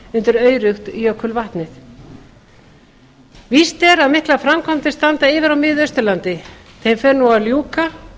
undir aurugt jökulvatnið víst er að miklar framkvæmdir standa yfir á miðausturlandi þeim fer nú að ljúka